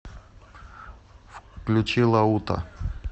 включи лаута